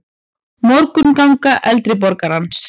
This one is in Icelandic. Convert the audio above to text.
Morgunganga eldri borgarans.